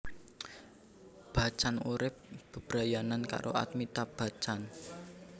Bachchan urip bebrayanan karo Amitabh Bachchan